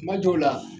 Kuma dɔw la